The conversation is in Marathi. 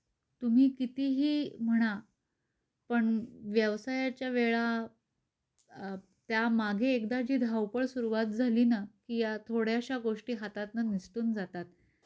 तुम्ही किती ही म्हणापण व्यवसायाच्या वेळाल त्या मागे एकदा जी धावपळ सुरुवात झालीना कि या थोड्याशा गोष्टी हातातन निसटून जातात.